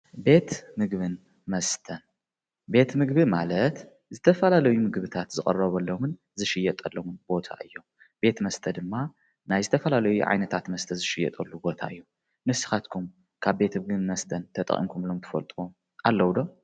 ቤት ምግብን መስተን ቤት ምግቢ ማለት ዝተፈላለዩ ምግብታት ዝቅረበሎምን ዝሽየጠሎምን ቦታ እዮም፤ ቤት መስተ ድማ ናይ ዝተፈላለዩ ዓይነታት መስተ ዝሽየጠሉ ቦታ እዩ ። ንስኻትኩም ካብ ቤት ምግቢን መስተን ተጠቂምኩምሎም ትፈልጡ ኣለዉ ዶ?